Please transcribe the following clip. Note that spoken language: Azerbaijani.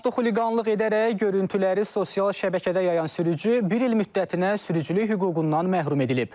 Avtoxuliqanlıq edərək görüntüləri sosial şəbəkədə yayan sürücü bir il müddətinə sürücülük hüququndan məhrum edilib.